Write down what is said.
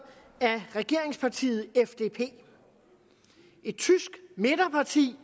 af regeringspartiet fdp et tysk midterparti